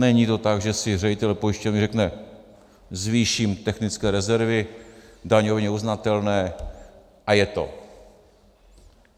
Není to tak, že si ředitel pojišťovny řekne: zvýším technické rezervy daňově uznatelné, a je to.